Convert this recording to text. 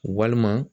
Walima